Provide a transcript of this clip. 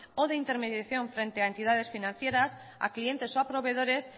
o de intermediación frente a entidades financieras a clientes o a proveedores